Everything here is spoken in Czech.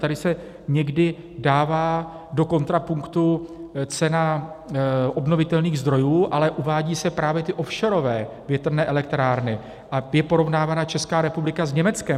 Tady se někdy dává do kontrapunktu cena obnovitelných zdrojů, ale uvádí se právě ty offshorové větrné elektrárny a je porovnávána Česká republika s Německem.